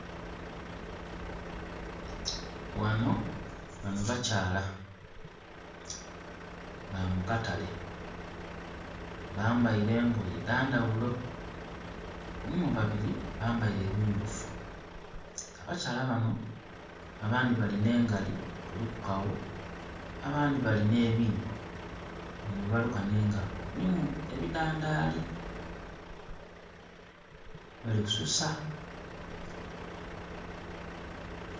Ghano, bano bakyala ba mu katale. Bambaile engoye dha ndhaghulo. Mulimu babiri bambaile ebimyufu. Abakyala bano, abandi balina engali kuliku kawo, abandi balina ebiibo bino byebaluka nh'engalo, mulimu ebidhandaali, bali kususa.